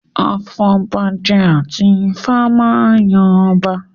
Afọbajẹ àti Ifá máa yan ọba